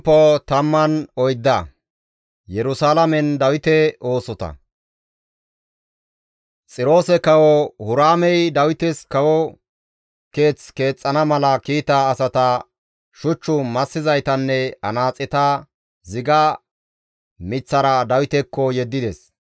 Xiroose Kawo Huraamey Dawites kawo keeth keexxana mala kiita asata, shuch massizaytanne anaaxeta ziga miththara Dawitekko yeddides.